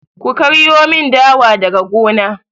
Ku karyo mun dawa daga gona!